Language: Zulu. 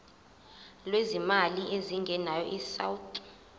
lwezimali ezingenayo isouth